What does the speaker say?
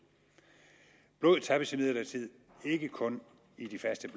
tappes imidlertid ikke kun i de faste